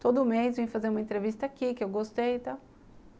Todo mês eu ia fazer uma entrevista aqui, que eu gostei e tal.